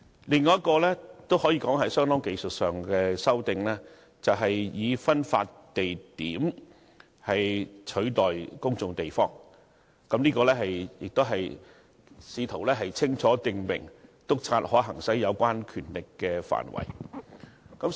另一項可以說是相當技術性的修訂，以"分發地點"取代"公眾地方"，試圖清楚訂明，督察可行使有關權力的範圍。